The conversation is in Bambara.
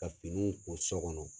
Ka finiw ko so kɔnɔ.